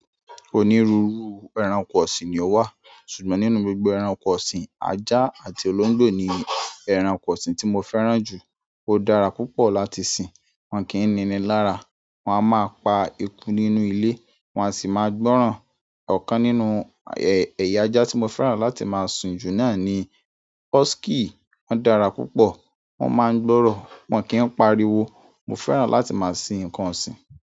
Onírúurú ẹranko ọ̀sìn ni ó wà, ṣùgbọ́n nínú gbogbo ẹranko ọ̀sìn, ajá àti olóńgbò ni ẹranko ọ̀sìn tí mo fẹ́ràn jù. Ó dára púpọ̀ láti sìn, wọ́n kìí níni lára, wọ́n a máa pa eku nínú ilé, wọ́n a sì máa gbọ́ràn. Ọ̀kan nínú ẹ̀yà ajá tí mo fẹ́ràn láti máa sùn jù náà ni husky. Wọ́n dára púpọ̀, wọn máa ń gbọ́rọ̀, wọn kì í pariwo. Mo fẹ́ràn láti máa sìn ǹkan ọ̀sìn.